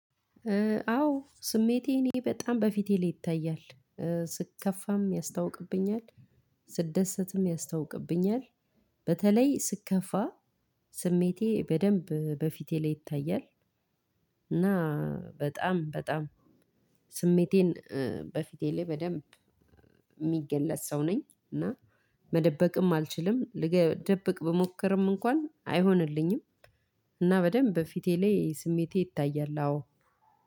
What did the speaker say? አዎ ስሜቴ እኔ በጣም በፊቴ ላይ ይታያል። ስከፋም ያስታውቅብኛል። ስደሰትም ያስታውቅብኛል። በተለይ ስከፋ ስሜቴ በደንብ በፊቴ ላይ ይታያል። እና በጣም በጣም ስሜቴን በፊቴ ላይ በደንብ የሚገለጽ ሰው ነኝ። እና መደበቅም አልችልም ልደብቅ ብሞክርም እንኳን አይሆንልኝም። እና በደንብ ፊቴ ላይ ስሜቴ ይታያል አዎ